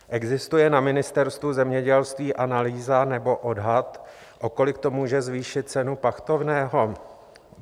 Existuje na Ministerstvu zemědělství analýza nebo odhad, o kolik to může zvýšit cenu pachtovného?